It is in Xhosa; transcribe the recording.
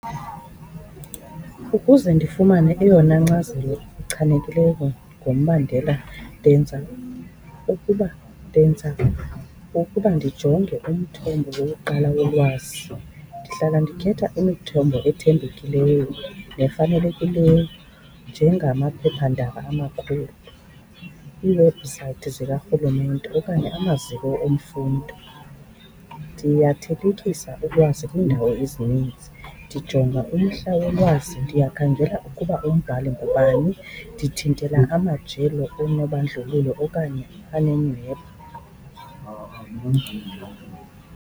Ukuze ndifumane eyona nkcazelo echanekileyo ngombandela, ndenza ukuba, ndenza ukuba ndijonge umthombo wokuqala wolwazi. Ndihlala ndikhetha imithombo ethembekileyo nefanelekileyo njengamaphephandaba amakhulu, iiwebhusayithi zikarhulumente okanye amaziko emfundo. Ndiyathelekisa ulwazi kwiindawo ezininzi. Ndijonga umhla wolwazi, ndiyakhangela ukuba umbhali ngubani, ndithintele amajelo anobandlululo okanye anenyhweba.